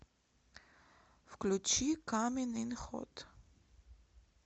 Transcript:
включи камин ин хот